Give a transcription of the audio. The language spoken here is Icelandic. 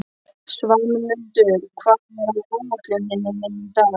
Svanmundur, hvað er á áætluninni minni í dag?